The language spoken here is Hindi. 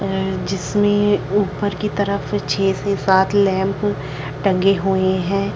अ जिसमें ऊपर की तरफ छः से सात लैंप टंगे हुए हैं ।